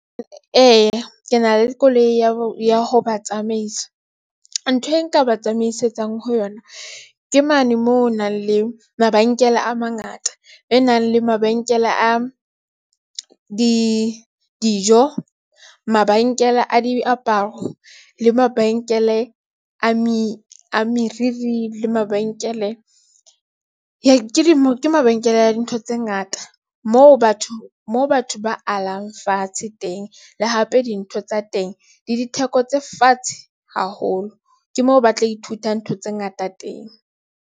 Ee, ke na le koloi ya ho ba tsamaisa. Ntho e nka ba tsamaisetsang ho yona. Ke mane moo ho nang le mabenkele a mangata e nang le mabenkele a di dijo, mabenkele a diaparo le mabenkele a meriri le mabenkele ke mabenkele dintho tse ngata moo batho moo batho ba alang fatshe teng le hape dintho tsa teng le ditheko tse fatshe haholo ke moo ba tla ithuta ntho tse ngata teng.